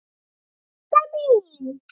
Didda mín.